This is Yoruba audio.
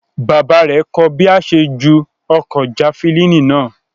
Bàbá rẹ̀ kọ́ ọ bí a ṣe ń ju ọ̀kọ̀ jafilini náà